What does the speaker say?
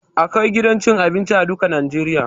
Akwai gidan cin abinci a duka najeriya